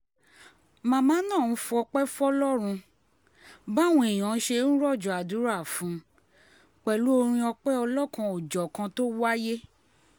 màmá náà fọpẹ́ fọlọ́run báwọn èèyàn ṣe ń rọ̀jò àdúrà fún un pẹ̀lú orin ọ̀pẹ ọlọ́kan-ò-jọ̀kan tó wáyé